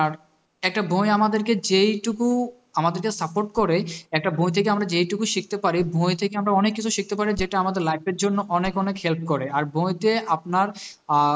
একটা বই আমাদেরকে যেইটুকু আমাদেরকে support করে একটা বই থেকে আমরা যেইটুকু শিখতে পারি বই থেকে আমরা অনেক কিছু শিখতে পারি যেটা আমাদের life এর জন্য অনেক অনেক help করে আর বইতে আপনার আঁ